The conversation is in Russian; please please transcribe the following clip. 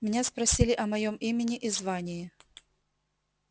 меня спросили о моём имени и звании